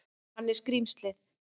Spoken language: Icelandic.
Hann er skrímslið.